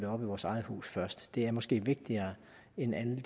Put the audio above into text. op i vores eget hus først det er måske vigtigere end al denne